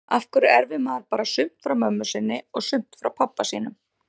Af hverju erfir maður bara sumt frá mömmu sinni og sumt frá pabba sínum?